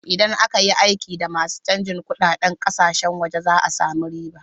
Idan aka yi aiki da masu canjin kunɗaden ƙasashen waje za a samu riba.